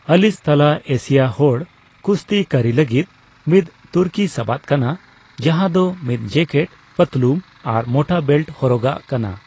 ᱟᱞᱤᱥ ᱛᱟᱞᱟ ᱮᱥᱤᱭᱟ ᱦᱚᱲ ᱠᱩᱥᱛᱤ ᱠᱟᱹᱨᱤ ᱞᱟᱹᱜᱤᱫ ᱢᱤᱫ ᱛᱩᱨᱠᱤ ᱥᱟᱵᱟᱫ ᱠᱟᱱᱟ ᱡᱟᱱᱟᱸ ᱫᱚ ᱢᱤᱫ ᱡᱮᱠᱮᱴ, ᱯᱟᱹᱛᱞᱩᱢ ᱟᱨ ᱢᱚᱴᱟ ᱵᱮᱞᱴ ᱦᱚᱨᱚᱜᱟᱼᱜ ᱠᱟᱱᱟ᱾